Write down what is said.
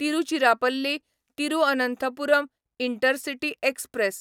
Tiruchirappalli Thiruvananthapuram intercity express